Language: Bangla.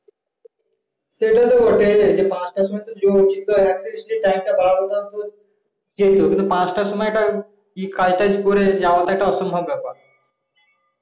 সেটাতো বটেই যে পাঁচতা সুময় দেরি হতো কিন্তু পাঁচতা সুময় একটা কাজ তাজ করে যাওয়া তা একটু অসম্ভ ব্যাপার